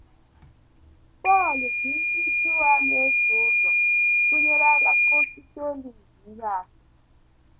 Pọl ji ndị Juu a na - eso ụzọ tụnyere alaka osisi olive ihe atụ.